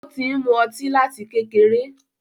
Ó ti ń mú ọtí láti kékeré.